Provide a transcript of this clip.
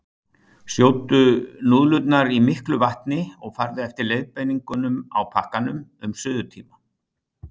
Sjóddu núðlurnar í miklu vatni og farðu eftir leiðbeiningunum á pakkanum um suðutíma.